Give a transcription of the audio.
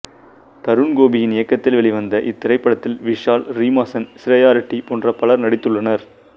தருண் கோபியின் இயக்கத்தில் வெளிவந்த இத்திரைப்படத்தில் விஷால் ரீமா சென் சிரேயா ரெட்டி போன்ற பலர் நடித்துள்ளனர்